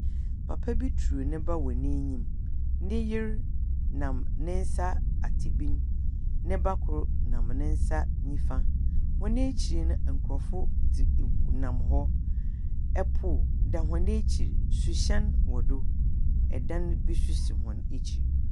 Papa bi turu ne ba wɔ n'enyim. Ne yer nam ne nsa ate bin. Ne ba kor nam ne nsa nifa. Hɔn ekyir no, nkurɔfo dzi mm nam hɔ. Pon da hɔn ekyir. Suhyɛn wɔ do. Ɛdan bi nso si hɔn ekyir.